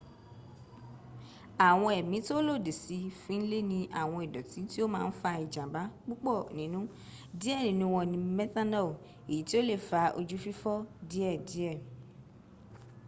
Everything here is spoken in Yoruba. àwọn ẹ̀mí tó lòdì sí fin le ni awon idooti ti o ma n fa ijamba pupo ninu die ninu won ni methanol èyí tí ò le fa ojú fífọ́ díẹ díẹ̀